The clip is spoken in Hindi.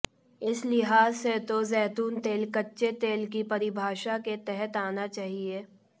इस लिहाज से तो जैतून तेल कच्चे तेल की परिभाषा के तहत आना चाहिए